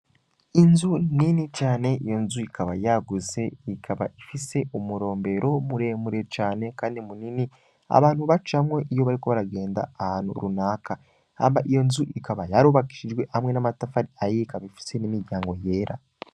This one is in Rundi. Inzu nini cane iyo nzu ikaba yaguse ikaba ifise umurombero muremure cane, kandi munini abantu bacamwe iyo bariko baragenda ahantu runaka hamba iyo nzu ikaba yarubakishijwe hamwe n'amatafari ayika bifise n'imiryango yera.